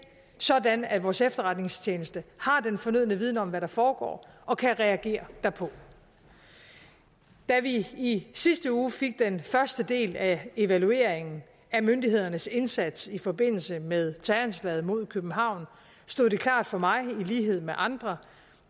sådan at vores efterretningstjeneste har den fornødne viden om hvad der foregår og kan reagere derpå da vi i sidste uge fik den første del af evalueringen af myndighedernes indsats i forbindelse med terroranslaget mod københavn stod det klart for mig i lighed med andre